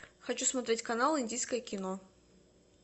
хочу смотреть канал индийское кино